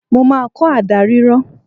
Mo máa kọ́ àdá rírọ